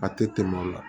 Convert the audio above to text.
A tɛ tɛmɛ o la